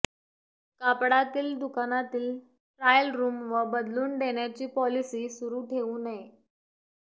कापडातील दुकानातील trial room व बदलून देण्याची पॉलिसी सुरु ठेऊ नये